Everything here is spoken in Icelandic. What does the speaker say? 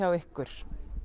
ykkur